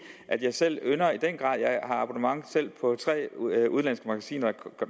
at jeg selv har abonnement på tre udenlandske magasiner